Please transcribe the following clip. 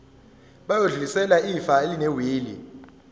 bayodlulisela ifa elinewili